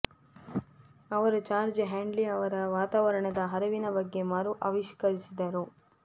ಅವರು George Hadley ಅವರ ವಾತಾವರಣದ ಹರವಿನ ಬಗ್ಗೆ ಮರು ಆವಿಷ್ಕರಿಸಿದರು